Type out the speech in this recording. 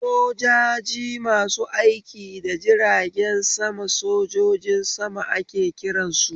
Sojaji masu aiki da jiragen sama sojojin sama ake kiransu